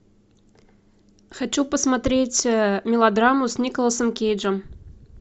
хочу посмотреть мелодраму с николасом кейджем